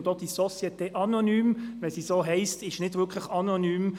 Und auch diese «Société anonyme» ist, selbst wenn sie so heisst, nicht wirklich anonym: